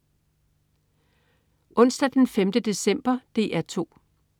Onsdag den 5. december - DR 2: